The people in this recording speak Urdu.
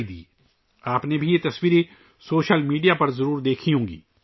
سوشل میڈیا پر یہ تصاویر آپ نے بھی دیکھی ہوں گی